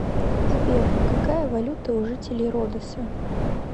сбер какая валюта у жителей родоса